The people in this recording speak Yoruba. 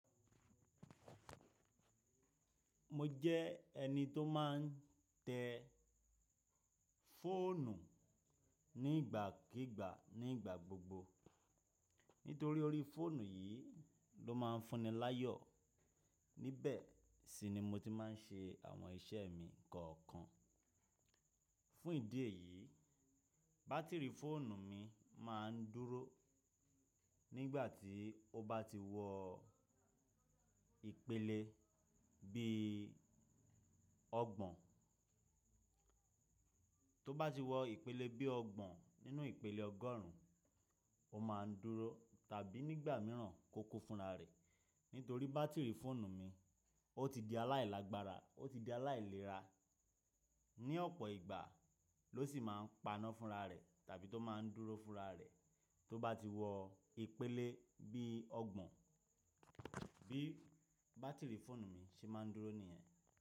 Mo jẹ́ ẹni tó má n tẹ fóònù nígbàkígbà nígbà gbogbo nítorí orí fóònù yìí ló má n fúnni láyọ̀. Nibẹ̀ si ni mo ti má n ṣe àwọn iṣẹ́ mi kọ̀ọ̀kan. Fún ìdí èyí, bátìrì fóònù mi má n dúró nígbà tí ó bá ti wọ ìpele bí i ọgbọ̀n. Tó bá ti wọ ìpele bí i ọgbọ̀n nínú ìpele ọgọ́rùn ún, ó má a dúró tàbí nígbà mìíràn kó kó fúnra rẹ̀. Nítorí bátìrì fóònù mi ó ti di aláìlágbára ó ti di aláìlera. Ni ọ̀pọ̀ ìgbà ló sì má a n paná fúnra rẹ̀ tàbí tó má n dúró fúnra rẹ̀ tó bá ti wọ ìpele bí i ọgbọ̀n. Bí bátìrì fóònù mi ṣe má a ń dúró nìyẹn.